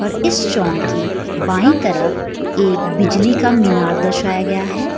और इस चौक के बाई तरफ एक बिजली का मीनार दर्शाया गया है।